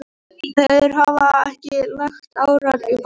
Þeir hafa ekki lagt árar í bát.